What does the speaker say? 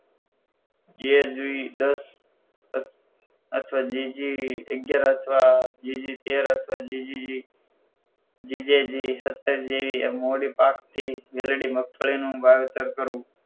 જે જોય દસ અથવા જીજે અગિયાર અથવા જીજે તેર અથવા જેજી જીજેજી સાતર જેવી મોદી પાક થી મેલડી મગફળીનું વાવેતર કરવું